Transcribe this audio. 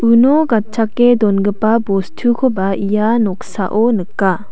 uno gatchake dongipa bostukoba ia noksao nika.